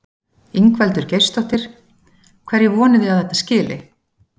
Ingveldur Geirsdóttir: Hverju vonið þið að þetta skili?